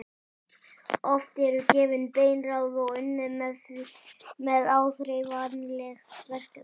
Oft eru gefin bein ráð og unnið með áþreifanleg verkefni.